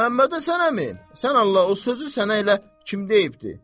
Məmmədhəsən əmi, sən Allah, o sözü sənə elə kim deyibdir?